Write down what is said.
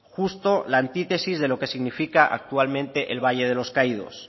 justo la antítesis de lo que significa actualmente el valle de los caídos